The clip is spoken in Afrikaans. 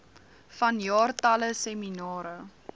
vanjaar talle seminare